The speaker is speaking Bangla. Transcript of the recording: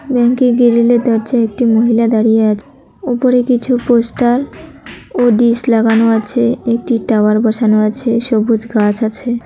ব্যাংকের গিরিলের দরজায় একটি মহিলা দাঁড়িয়ে আছে উপরে কিছু পোস্টার ও ডিশ লাগানো আছে একটি টাওয়ার বসানো আছে সবুজ গাছ আছে।